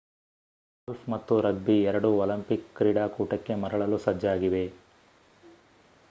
golf ಮತ್ತು rugby ಎರಡೂ Olympic ಕ್ರೀಡಾಕೂಟಕ್ಕೆ ಮರಳಲು ಸಜ್ಜಾಗಿವೆ